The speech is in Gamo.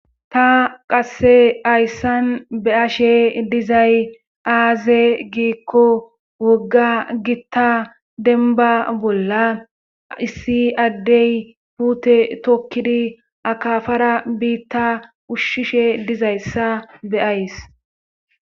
Ta qasse ayssan be ashe dizay aaze giikko wogga gitta denba bolla issi addey puute tokkidi akafara biitta ushshishe dizayssa beays.